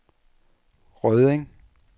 Rødding